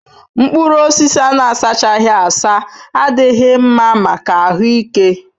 Mkpụrụ osisi a na-asachaghị asa adịghị mma maka ahụ ike